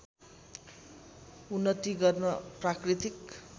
उन्नति गर्न प्राकृतिक